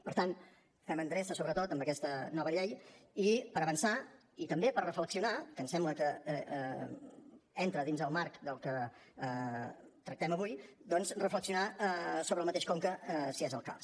per tant fem endreça sobretot amb aquesta nova llei per avançar i també per reflexionar que em sembla que entra dins el marc del que tractem avui doncs reflexionar sobre el mateix conca si és el cas